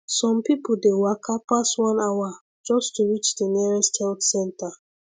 some people dey waka pass one hour just to reach the nearest health center